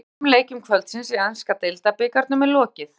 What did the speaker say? Þremur af fimm leikjum kvöldsins í enska deildabikarnum er lokið.